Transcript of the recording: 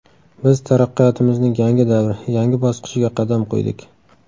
Biz taraqqiyotimizning yangi davri, yangi bosqichiga qadam qo‘ydik.